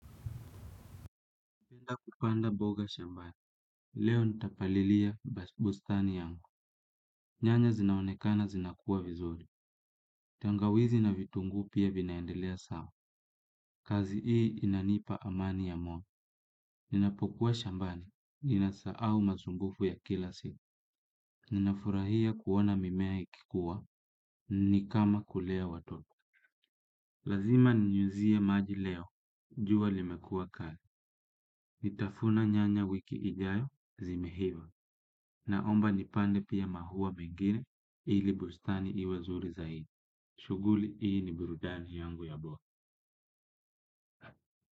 Napenda kupanda mboga shambani. Leo nitapalilia bustani yangu. Nyanya zinaonekana zinakua vizuri. Tengawizi na vitunguu pia vinaendelea sawa. Kazi hii inanipa amani ya moyo. Ninapokuwa shambani. Ninasahau masumbufu ya kila siku. Ninafurahia kuona mimea ikikuwa. Ni kama kulea watoto. Lazima ninyunyuzie maji leo. Jua limekua kari. Nitafuna nyanya wiki ijayo zimehiva. Naomba nipande pia maua mengine ili bustani iwe zuri zaidi. Shughuli hii ni burudani yangu ya bo.